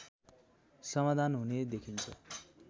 समाधान हुने देखिन्छ